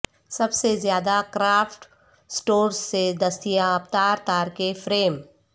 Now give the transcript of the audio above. سب سے زیادہ craft stores سے دستیاب تار تار کے فریم